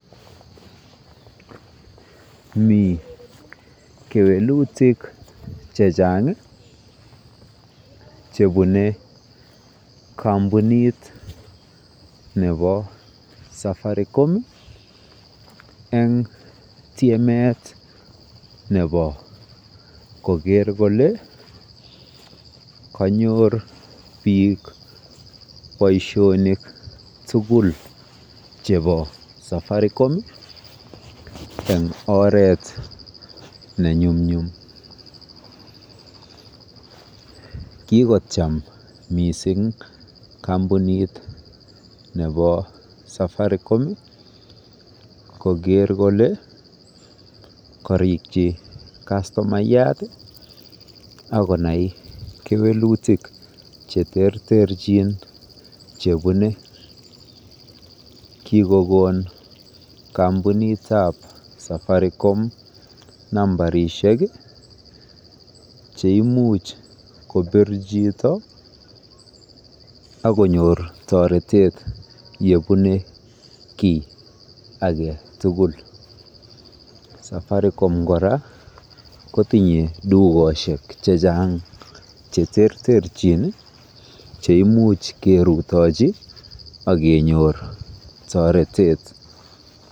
mii kelutik chechang iih chebune kompunit nebo safaricom en tyemeet nebo kogeer kole konyoor biik boishonik tugul chebo Safaricom en oreet nenyumnyum, kigocham mising kompunit nebo Safaricom kogeer kole korokyi kastomayaat ak konai kewelutik cheterter chin chebune, kigogoon kambiinit ab Safaricom numbarishek iih cheimuch kobiir chito ak konyoor toretet yebune kii agetugul, Safaricom koraa kotinye tugoshek chechang cheterterchin cheimuch kerutochi ak kenyoor toretet.